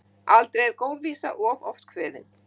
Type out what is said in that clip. Aldrei er góð vísa of oft kveðin.